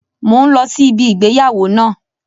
Mo ń lọ sí ibi ìgbéyàwó náà